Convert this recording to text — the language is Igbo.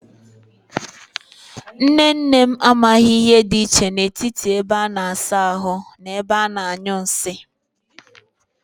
Nne nne m amaghi ihe di iche n'etiti ebe a na-asa ahu na ebe a na-anyu nsi.